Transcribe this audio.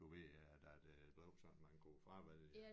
Du ved øh da det blev sådan man kunne fravælge